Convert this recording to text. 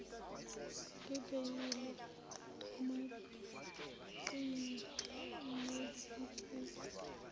ngebheyili omaqhinga nezinsizwa